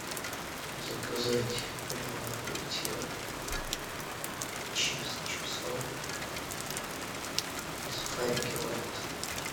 заказать лимонад буратино чипсы чипсоны и сухарики лайт